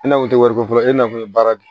E na kun tɛ wari ko fɔlɔ e n'a kun ye baara de